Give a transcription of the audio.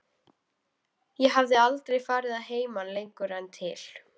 Ég hafði aldrei farið að heiman lengur en til